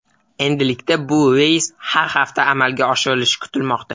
Endilikda bu reys har hafta amalga oshirilishi kutilmoqda.